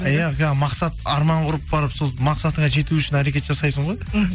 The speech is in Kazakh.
иә мақсат арман құрып барып сол мақсатыңа жету үшін әрекет жасайсың ғой іхі